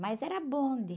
Mais era bonde.